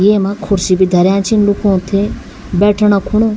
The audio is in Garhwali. येमा कुर्सी भी धर्यां छीन लूखुं ते बैठना खुणु।